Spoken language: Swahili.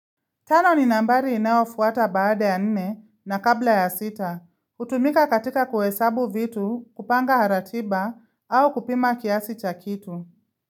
Tano ni nambali inawafuata baada ya nine na kabla ya sita. Hutumika katika kuhesabu vitu, kupanga haratiba au kupima kiasi chakitu.